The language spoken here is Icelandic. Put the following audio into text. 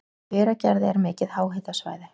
Í Hveragerði er mikið háhitasvæði.